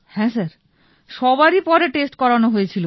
হ্যাঁ স্যার সবারই টেষ্ট পরে করানো হয়ে ছিল